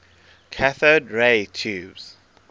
cathode ray tubes